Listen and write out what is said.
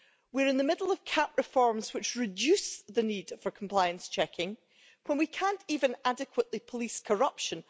We're in the middle of CAP reforms which reduce the need for compliance checking when we can't even adequately police corruption.